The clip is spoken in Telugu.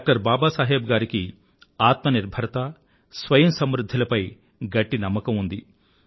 డాక్టర్ బాబా సాహెబ్ గారికి ఆత్మ నిర్భరత స్వయం సమృధ్ధి లపై గట్టి నమ్మకం ఉంది